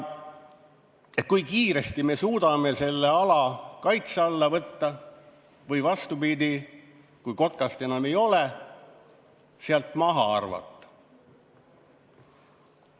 Kui kiiresti me suudame selle ala kaitse alla võtta või, vastupidi, kui kotkast enam ei ole, sealt maha arvata?